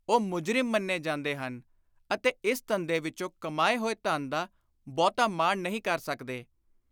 ਉਹ ਮੁਜਰਿਮ ਮੰਨੇ ਜਾਂਦੇ ਹਨ ਅਤੇ ਇਸ ਧੰਦੇ ਵਿਚੋਂ ਕਮਾਏ ਹੋਏ ਧਨ ਦਾ ਬਹੁਤਾ ਮਾਣ ਨਹੀਂ ਕਰ ਸਕਦੇ।